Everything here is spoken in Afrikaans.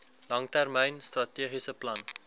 langtermyn strategiese plan